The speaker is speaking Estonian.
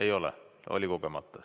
Ei ole, oli kogemata.